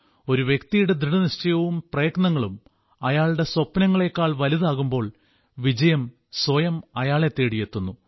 ഒരു വ്യക്തിയുടെ ദൃഢനിശ്ചയവും പ്രയത്നങ്ങളും അയാളുടെ സ്വപ്നങ്ങളേക്കാൾ വലുതാകുമ്പോൾ വിജയം സ്വയം അയാളെ തേടിയെത്തുന്നു